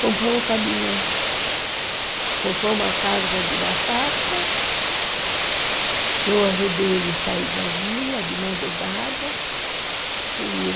Comprou um caminhão, comprou uma carga de batata, eu ajudei ele a sair da vila de madrugada, sumiu.